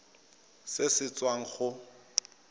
irp se se tswang go